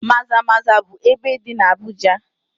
Maza-maza bụ ebe dị na Abuja.